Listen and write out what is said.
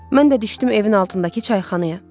Mən də düşdüm evin altındakı çayxanaya.